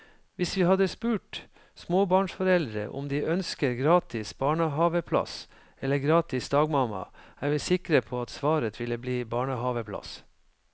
Hvis vi hadde spurt småbarnsforeldre om de ønsker gratis barnehaveplass eller gratis dagmamma, er vi sikre på at svaret ville bli barnehaveplass.